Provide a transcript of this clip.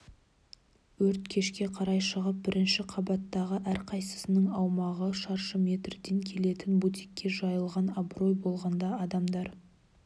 өрт кешке қарай шығып бірінші қабаттағы әрқайсысының аумағы шаршы метрден келетін бутикке жайылған абырой болғанда адамдар